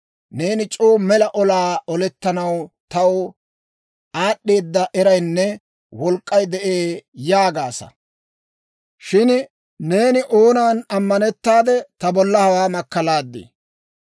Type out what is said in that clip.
Neeni c'oo mela, Olaa olettanaw taw aad'd'eeda eraynne wolk'k'ay de'ee yaagaasa. Shin neeni oonan ammanettaade ta bolla hawaa makkalaadii?